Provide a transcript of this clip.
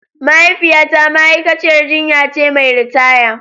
Mahaifiyata ma'aikaciyar jinya ce mai ritaya.